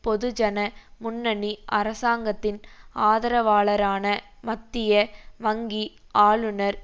பொதுஜன முன்னணி அரசாங்கத்தின் ஆதரவாளரான மத்திய வங்கி ஆளுனர்